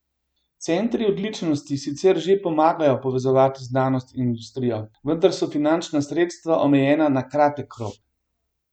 Centri odličnosti sicer že pomagajo povezovati znanost in industrijo, vendar so finančna sredstva omejena na kratek rok.